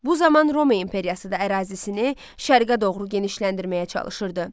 Bu zaman Roma imperiyası da ərazisini şərqə doğru genişləndirməyə çalışırdı.